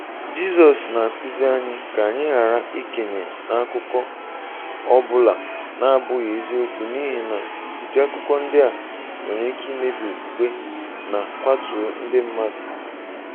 Jizọs na-akụzi anyị ka anyị ghara ikenye n'akụkọ, ọ bụla na-abụghị eziokwu n'ihi na ụdị akụkọ ndị a nwere ike imebi okwukwe na kwatuo ndị mmadụ.